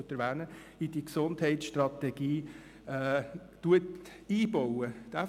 Vielleicht sind es dann nicht ganz alle Elemente der Motion.